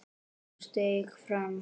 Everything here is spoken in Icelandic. Hún steig fram.